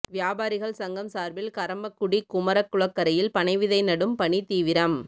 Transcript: வியாபாரிகள் சங்கம் சார்பில் கறம்பக்குடி குமரகுளக்கரையில் பனை விதை நடும் பணி தீவிரம்